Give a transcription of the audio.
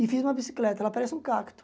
E fiz uma bicicleta, ela parece um cacto.